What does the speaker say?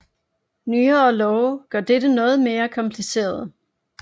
Nyere love gør dette noget mere kompliceret